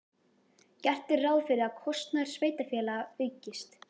Gert er ráð fyrir að kostnaður sveitarfélaga aukist.